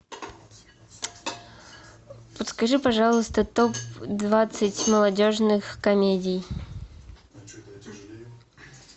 подскажи пожалуйста топ двадцать молодежных комедий